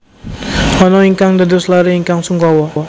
Anna ingkang dados laré ingkang sungkawa